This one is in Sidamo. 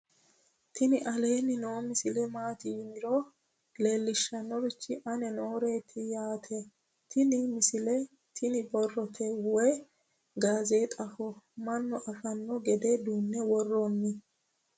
tini aleenni noo misile maati yiniro leellishshannorichi aane nooreeti yaate tini misile tini borrote woy gaazexaho mannu afanno gede duunne worrronni